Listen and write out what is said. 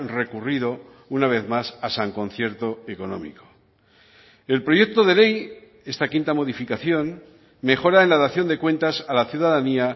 recurrido una vez más a san concierto económico el proyecto de ley esta quinta modificación mejora en la dación de cuentas a la ciudadanía